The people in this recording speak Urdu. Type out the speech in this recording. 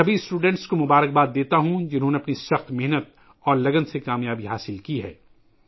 میں ان تمام طلباء کو مبارکباد پیش کرتا ہوں ، جنہوں نے اپنی سخت محنت اور لگن سے کامیابی حاصل کی ہے